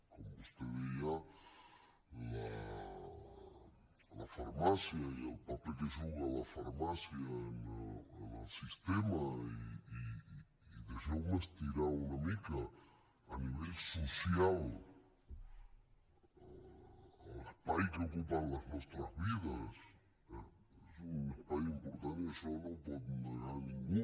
com vostè deia la farmàcia i el paper que juga la farmàcia en el sistema i deixeu me estirar una mica a nivell social l’espai que ocupa en les nostres vides és un espai important i això no ho pot negar ningú